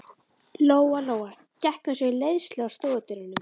Lóa Lóa gekk eins og í leiðslu að stofudyrunum.